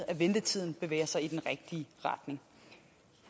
at ventetiden bevæger sig i den rigtige retning